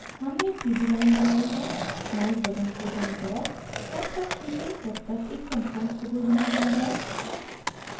हमने एक सीधी line बनाई है mouse बटन को दायीं तरफ तब तक खींचे जब तक एक समकोण त्रिभुज न बन जाये